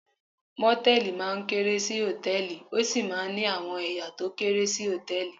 Mòtẹ́lìì máa ń kéré sí Hòtẹ́lìì, ó sì máa ń ní àwọn ẹ̀ya tó kéré sí Hòtẹ́lìì.